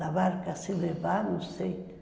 La Barca Se Levar, não sei.